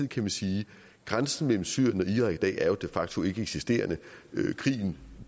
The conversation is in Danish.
kan man sige at grænsen mellem syrien og irak i dag jo er de facto ikke eksisterende krigen